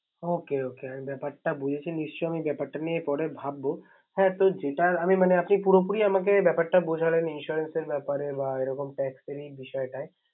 ওকে okay আমি ব্যাপারটা বুঝেছে। নিশ্চই আমি ব্যাপারটা নিয়ে পরে ভাববো। হ্যা তো যেটা আমি মানে আপনি পুরোপুরি বুঝালেন Insurance ব্যাপারে বা এরকম tax এর বিষয়ে